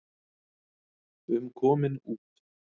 um komin út.